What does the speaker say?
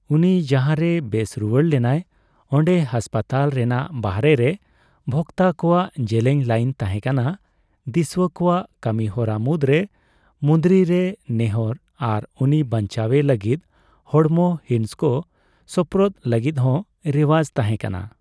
ᱩᱱᱤ ᱡᱟᱦᱟᱨᱮᱭ ᱵᱮᱥ ᱨᱩᱣᱟᱹᱲ ᱞᱮᱱᱟᱭ, ᱚᱸᱰᱮ ᱦᱟᱥᱯᱟᱛᱟᱞ ᱨᱮᱱᱟᱜ ᱵᱟᱦᱨᱮ ᱨᱮ ᱵᱷᱚᱠᱛᱟ ᱠᱚᱣᱟᱜ ᱡᱮᱞᱮᱧ ᱞᱟᱹᱭᱤᱱ ᱛᱟᱦᱮᱸᱠᱟᱱᱟ; ᱫᱤᱥᱩᱣᱟ ᱠᱚᱣᱟᱜ ᱠᱟᱹᱢᱤᱦᱚᱨᱟ ᱢᱩᱫ ᱨᱮ ᱢᱩᱸᱫᱽᱨᱤ ᱨᱮ ᱱᱮᱦᱚᱨ ᱟᱨ ᱩᱱᱤ ᱵᱟᱧᱪᱟᱣᱮ ᱞᱟᱹᱜᱤᱫ ᱦᱚᱲᱢᱚ ᱦᱤᱸᱥ ᱠᱚ ᱥᱳᱯᱨᱳᱫ ᱞᱟᱜᱤᱫ ᱦᱚᱸ ᱨᱮᱣᱟᱡᱽ ᱛᱟᱦᱮ ᱠᱟᱱᱟ ᱾